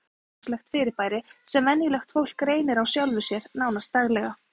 Áhrif dáleiðslu eru fremur hversdagslegt fyrirbæri sem venjulegt fólk reynir á sjálfu sér, nánast daglega.